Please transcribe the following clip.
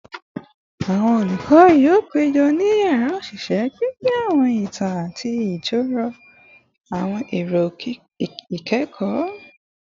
Awọn olukọ yoo pejọ ni yara oṣiṣẹ, pinpin awọn itan ati jiroro awọn ero ikẹkọ